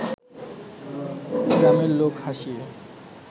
গ্রামের লোক হাসিয়ে